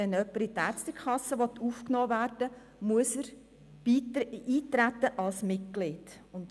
Wenn jemand in die Ärztekasse aufgenommen werden will, muss er als Mitglied eintreten.